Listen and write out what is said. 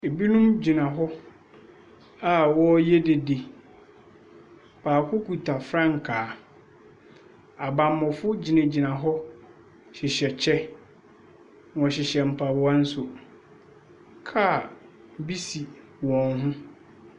Binom gyina hɔ a wɔreyɛ dede. Baako kita frankaa. Abammɔfoɔ gyinagyina hɔ hyehyɛ kyɛ. Wɔhyehyɛ mpaboa nso. Car bi si wɔn ho.